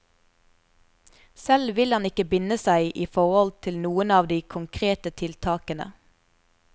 Selv vil han ikke binde seg i forhold til noen av de konkrete tiltakene.